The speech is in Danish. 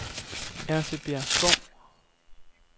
Ertebjergskov